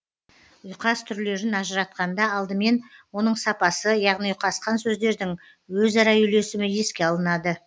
ұйқас түрлерін ажыратқанда алдымен оның сапасы яғни ұйқасқан сөздердің өзара үйлесімі еске алынады